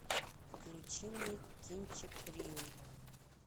включи мне кинчик рио